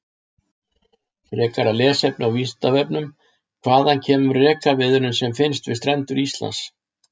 Frekara lesefni á Vísindavefnum: Hvaðan kemur rekaviðurinn sem finnst við strendur Íslands?